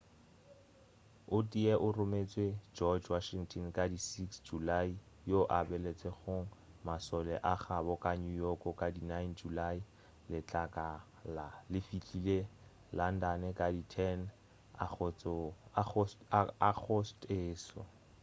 o tee o rometšwe george washington ka di 6 julae yoo a baletšego mašole a gabo ka new york ka di 9 julae letlakala le fihlile london ka di 10 agostose